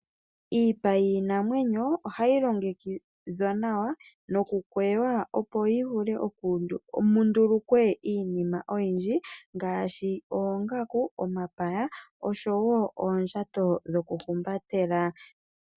Iipa yiinamwenyo ohayi longekidhwa nawa nokukweya yi vule mundulukwe iinima oyindji ngaashi oongaku, omapaya osho woo oondjato dhoku humbatela.